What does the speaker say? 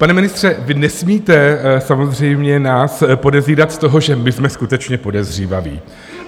Pane ministře, vy nesmíte samozřejmě nás podezírat z toho, že my jsme skutečně podezřívaví.